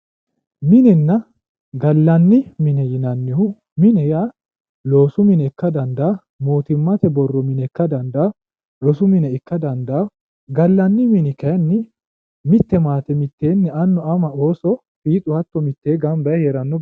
minenna gallanni mine yaannohu mine yaa loosu mine ikkara dandaanno mootimmate mine ikkara dandaanno rosu mine ikkara dandaanno gallanni mini kayiinni mitte maate mitteenni annu ama ooso hatto mittee gamba yee heeranno baseeti.